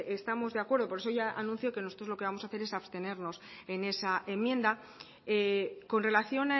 estamos de acuerdo por eso ya anuncio que nosotros lo que vamos a hacer es abstenernos en esa enmienda con relación